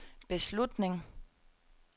beslutning